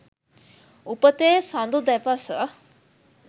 උපතේ සඳු දෙපස